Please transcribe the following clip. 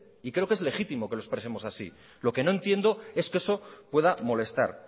y creo que es legítimo que lo expresemos así lo que no entiendo es que eso pueda molestar